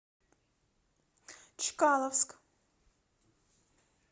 чкаловск